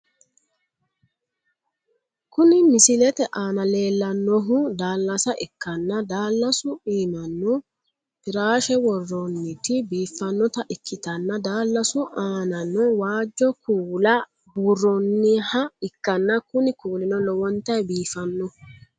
Kuni misilete aana leellannohu daallasa ikkanna, daallasu iimano firaashe worroonniti biiffannota ikkitanna daalasu anano waajjo kuula buurronniha ikkanna kuni kuulino lowontanni biifannoho.